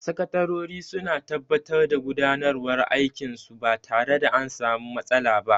Sakatarori suna tabbatar da gudanarwan aikin su ba tare da an sami matsala ba